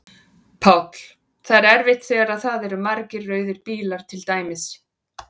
Páll: Það er erfitt þegar að það eru margir rauðir bílar til dæmis?